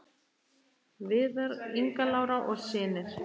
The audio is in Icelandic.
Viðar, Inga Lára og synir.